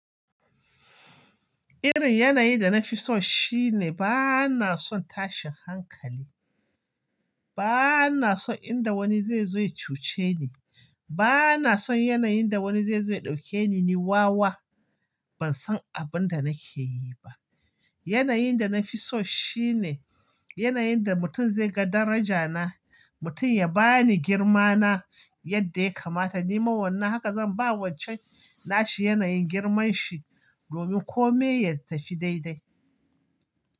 Irin yanayi da na fi so shine ba na son tashin hankali. Ba na son inda wani zai zo ya cuce ni. Ba na son yanayin da wani zai zo ya ɗauke ni ni wawa. Ban san abin da nake yi ba. Yanayin da na fi so shine yanayin da mutum zai ga daraja na, mutum ya ba ni girma na yadda ya kamata. Ni ma wannan haka zan ba wancan nashi yanayin girman shi domin kome ya tafi dai-dai.